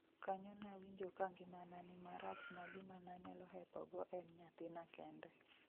Kanyo nawinjo ka ngimana ni marach ma gima nanyalo hepo go en nyathina kende